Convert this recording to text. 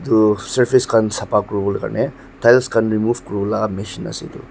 Ru surface khan sabha kure bo karne tiles khan remove kurala machine ase.